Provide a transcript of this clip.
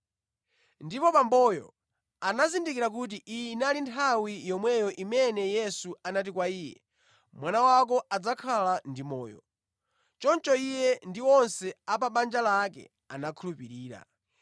Ndipo bamboyo anazindikira kuti iyi inali nthawi yomweyo imene Yesu anati kwa iye, “Mwana wako adzakhala ndi moyo.” Choncho iye ndi onse a pa banja lake anakhulupirira.